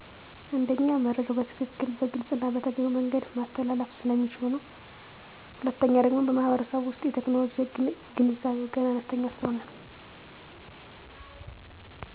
አንደኛ መረጃዉ በትክክል; በግልፅና በተገቢዉ መንገድ ማስተላለፍ ስለሚችሉ።. ሁለተኛ ደግሞ በማህበረሰቡ ዉሰጥ የቴክኖሎጂ ገንዛቤዉ ገና አነስተኛ ሰለሆነ ነው።